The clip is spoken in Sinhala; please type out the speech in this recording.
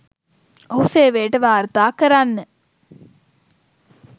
ඔහු සේවයට වාර්තා කරන්න